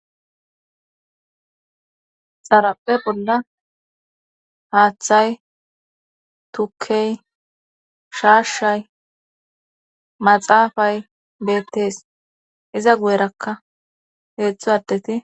xarape bolla haaththay tukkey shaashshay maxaafay beettees iza guyerakka heedzdzu addeti